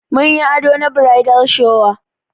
Mun yi ado na bridal shower.